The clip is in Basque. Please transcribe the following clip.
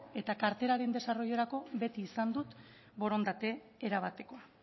eta karteraren desarroilorako beti izan dut borondate erabatekoa